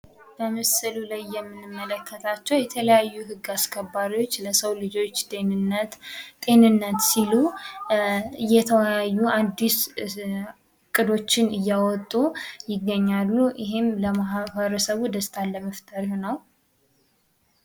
በምስሉ ላይ የምንመልከታቸው የተለያዩ ህግ አስከባሪዎች ለሰው ልጆች ደህንነት ጤንነት ሲሉ እየተወያዩ አዲስ እቅዶችን እያወጡ ይገኛሉ። ይህም ለማህበረሰቡ ደስታን ለመፍጠር ነው።